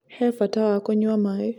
He bata wa kũnyua maĩ